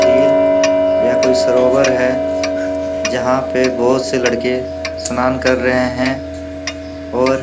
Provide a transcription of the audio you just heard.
झील या कोई सरोवर है। जहाँ पर बोहोत से लड़के स्नान कर रहे हैं और --